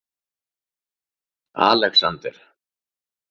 Alexander